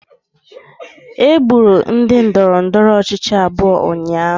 Egburu ndị ndọrọndọrọ ọchịchị abụọ ụnyahụ